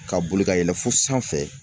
Ka boli ka yɛlɛ fo sanfɛ